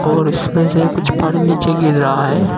और उसमें से कुछ पानी नीचे गिर रहा है।